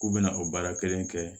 K'u bɛna o baara kelen kɛ